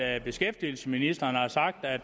at beskæftigelsesministeren har sagt at